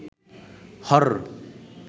horror